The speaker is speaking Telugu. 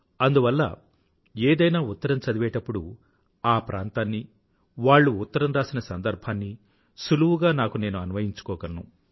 అందువల్ల ఏదైనా ఉత్తరం చదివేప్పుడు ఆ ప్రాంతాన్ని వాళ్ళా ఉత్తరం రాసిన సందర్భాన్ని సులువుగా నాకు నేను అన్వయించుకోగలను